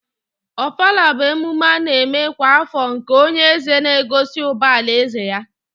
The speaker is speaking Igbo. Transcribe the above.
ọfala bu emume ana eme kwa afọ nke onye eze n'egosi ụba alaeze ya.